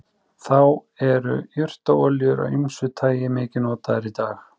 þá eru jurtaolíur af ýmsu tagi mikið notaðar í dag